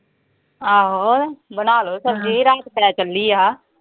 ਆਹੋ ਬਣਾਲੋ ਸਬਜ਼ੀ ਕੱਲੀ ਆ।